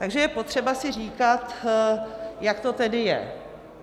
Takže je potřeba si říkat, jak to tedy je.